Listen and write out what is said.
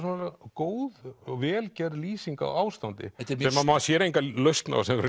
góð og vel gerð lýsing á ástandi sem maður sér enga lausn á sem